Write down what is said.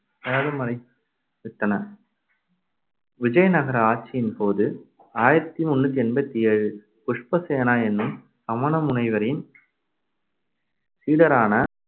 சேதமடைந்துவிட்டன விஜயநகர ஆட்சியின்போது ஆயிரத்தி முந்நூத்தி எண்பத்தி ஏழில் புஷ்பசேனா என்னும் சமண முனிவரின் சீடரான